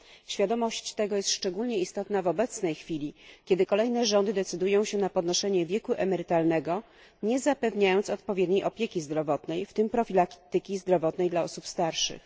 Świadomość tego jest szczególnie istotna w obecnej chwili, kiedy kolejne rządy decydują się na podnoszenie wieku emerytalnego, nie zapewniając odpowiedniej opieki zdrowotnej, w tym profilaktyki zdrowotnej dla osób starszych.